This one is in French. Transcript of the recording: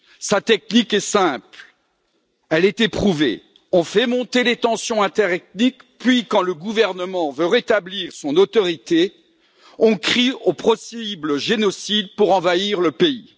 Sa technique est simple, elle est éprouvée on fait monter les tensions interethniques, puis, quand le gouvernement veut rétablir son autorité, on crie au possible génocide pour envahir le pays.